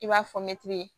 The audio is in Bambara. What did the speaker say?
I b'a fɔ mɛtiri